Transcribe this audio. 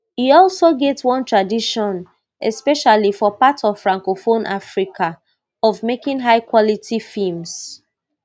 e also get one tradition especially for parts of francophone africa of making highquality films